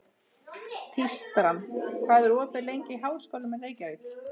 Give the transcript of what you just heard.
Tístran, hvað er opið lengi í Háskólanum í Reykjavík?